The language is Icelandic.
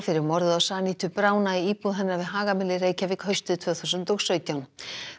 fyrir morðið á Sanitu Brauna í íbúð hennar við Hagamel í Reykjavík haustið tvö þúsund og sautján